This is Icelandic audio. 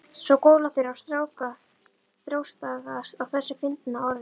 Svo góla þeir og þrástagast á þessu fyndna orði.